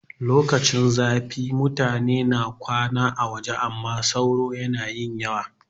Lokacin zafi mutane suna kwana a waje amma sauro na yin yawa